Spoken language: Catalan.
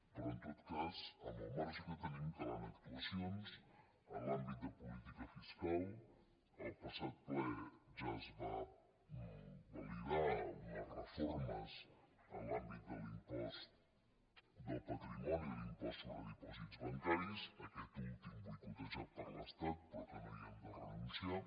però en tot cas amb el marge que tenim calen actuacions en l’àmbit de política fiscal i en el passat ple ja es van validar unes reformes en l’àmbit de l’impost del patrimoni i l’impost sobre dipòsits bancaris aquest últim boicotejat per l’estat però que no hi hem de renunciar